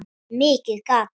Mikið gat